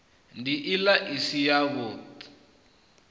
nd ila i si yavhud